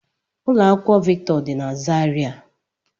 Ụlọ akwụkwọ Victor dị na Zaria